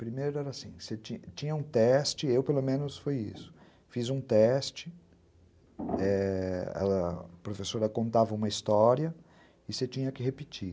Primeiro era assim, você tinha um teste, eu pelo menos fiz um teste, é... a professora contava uma história e você tinha que repetir.